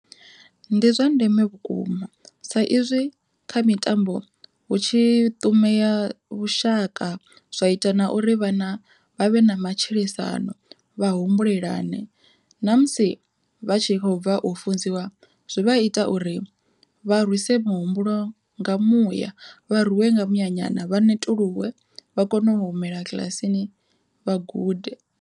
Ndi zwa ndeme vhukuma sa izwi kha mitambo hu tshi ṱumea vhushaka zwa ita na uri vhana vha vhe na matshilisano, vha humbulelane namusi vha tshi kho bva u funziwa zwi vha ita uri vha rwise muhumbulo nga muya vha rwiwe nga muya nyana vha netuluwe vha kone u humela kiḽasini vha gude.